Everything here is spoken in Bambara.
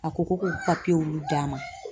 A ko ko d'a ma